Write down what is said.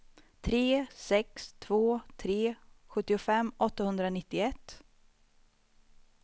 tre sex två tre sjuttiofem åttahundranittioett